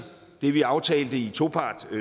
det vi aftalte i topart